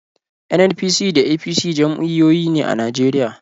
NNPP da APC jam'iyyoyi ne a Najeriya.